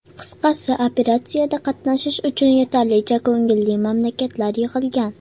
Qisqasi, operatsiyada qatnashish uchun yetarlicha ko‘ngilli mamlakatlar yig‘ilgan.